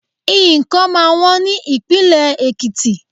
Nǹkan máa wọ́n ní ìpínlè Èkìtì.